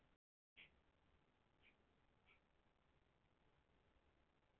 Við mundum aðeins fá að vita hvert eðli heimsins væri ekki.